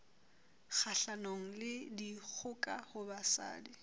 kgahlanong le dikgoka ho basadi